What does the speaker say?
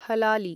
हलाली